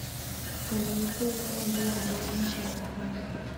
Sanaipei Tande wax badan ma sharaxaa?